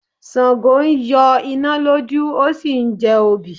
Sàngó ń yọ iná lójú ó sì ń jẹ obì.